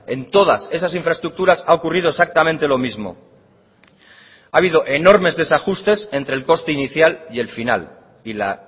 en todas esas infraestructuras ha ocurrido exactamente lo mismo ha habido enormes desajustes entre el coste inicial y el final y la